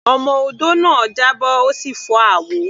Ọmọ odó náà já bọ́, ó sì fọ́ abọ́.